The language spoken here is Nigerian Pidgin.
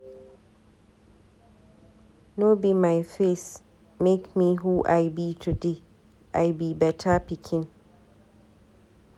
No be my face make me who I be today, I be beta pikin.